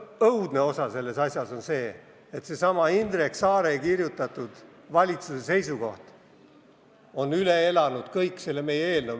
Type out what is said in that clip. Õudne osa selles asjas on see, et seesama Indrek Saare kirjutatud valitsuse seisukoht on üle elanud kogu meie eelnõu.